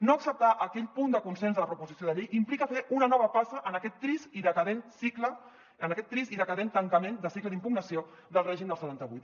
no acceptar aquell punt de consens de la proposició de llei implica fer una nova passa en aquest trist i decadent cicle en aquest trist i decadent tancament de cicle d’impugnació del règim del setanta vuit